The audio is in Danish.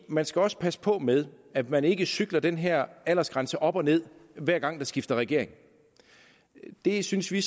man skal også passe på med at man ikke cykler den her aldersgrænse op og ned hver gang der bliver skiftet regering det synes vi